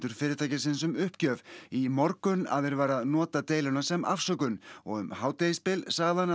fyrirtækisins um uppgjöf í morgun að þeir væru að nota deiluna sem afsökun og um hádegisbil sagði hann að